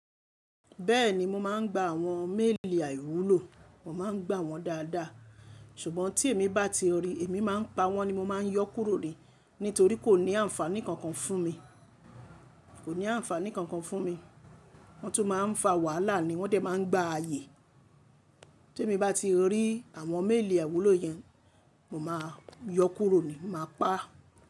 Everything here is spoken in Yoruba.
Bẹ́ẹ̀ni mo máa ń gba àwọn méèlì àwúlò, mo máa ń gbà wọ́n dáadáa. Ṣùgbọ́n tí èmi bá ti rí i, èmi máa ń pa wọ́n ni mo máa ń yọ kúrò ni nítorí kò ní àǹfààní kankan fún mi, kò ní àǹfààní kankan fún mi. Wọ́n tún máa ń fa wàhálà ni wọ́n dẹ̀ máa ń gba ààyè. Tí èmi bá ti rí àwọn méèlì àiwúlò yẹn, mo máa yọ kúrò ni, màá pa á.